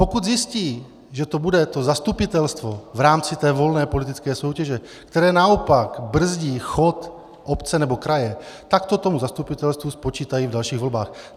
Pokud zjistí, že to bude to zastupitelstvo v rámci té volné politické soutěže, které naopak brzdí chod obce nebo kraje, tak to tomu zastupitelstvu spočítají v dalších volbách.